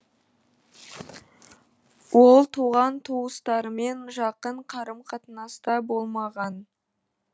ол туған туыстарымен жақын қарым қатынаста болмаған